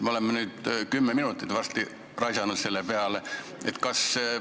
Me oleme nüüd varsti kümme minutit selle peale raisanud.